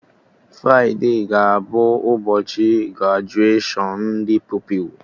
Fride ga-abụ ụbọchị grajuashọn ndị Pupilụ